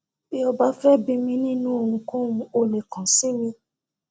bí o bá fẹ bi mí nínú ohunkóhun o lè kan si mí